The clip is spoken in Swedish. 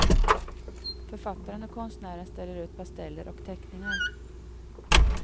Författaren och konstnären ställer ut pasteller och teckningar.